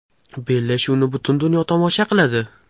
Bellashuvni butun dunyo tomosha qiladi.